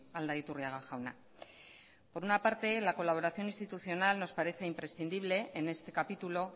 aldaiturriaga jauna por una parte la colaboración institucional nos parece imprescindible en este capítulo